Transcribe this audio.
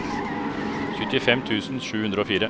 syttifem tusen sju hundre og fire